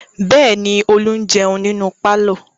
Bẹ́ẹ̀ ni, Olú ń jẹun nínú pálọ̀.